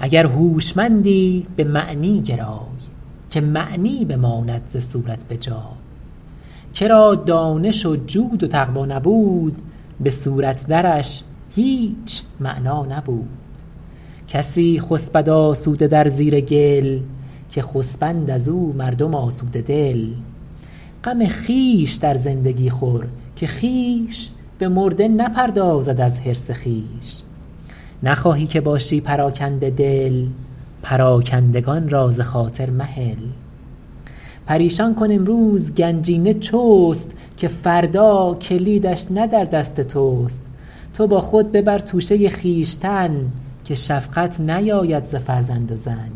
اگر هوشمندی به معنی گرای که معنی بماند ز صورت به جای که را دانش و جود و تقوی نبود به صورت درش هیچ معنی نبود کسی خسبد آسوده در زیر گل که خسبند از او مردم آسوده دل غم خویش در زندگی خور که خویش به مرده نپردازد از حرص خویش زر و نعمت اکنون بده کان تست که بعد از تو بیرون ز فرمان تست نخواهی که باشی پراکنده دل پراکندگان را ز خاطر مهل پریشان کن امروز گنجینه چست که فردا کلیدش نه در دست تست تو با خود ببر توشه خویشتن که شفقت نیاید ز فرزند و زن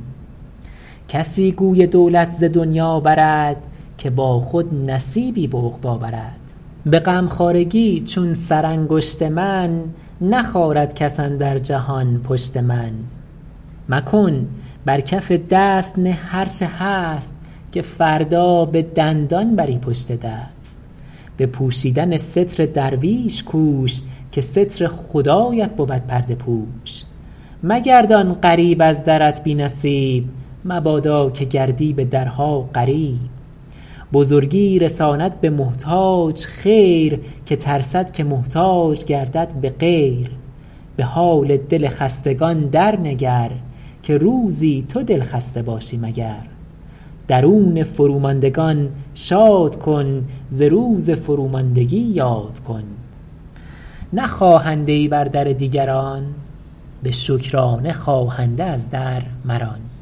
کسی گوی دولت ز دنیا برد که با خود نصیبی به عقبی برد به غمخوارگی چون سرانگشت من نخارد کس اندر جهان پشت من مکن بر کف دست نه هر چه هست که فردا به دندان بری پشت دست به پوشیدن ستر درویش کوش که ستر خدایت بود پرده پوش مگردان غریب از درت بی نصیب مبادا که گردی به درها غریب بزرگی رساند به محتاج خیر که ترسد که محتاج گردد به غیر به حال دل خستگان در نگر که روزی تو دلخسته باشی مگر درون فروماندگان شاد کن ز روز فروماندگی یاد کن نه خواهنده ای بر در دیگران به شکرانه خواهنده از در مران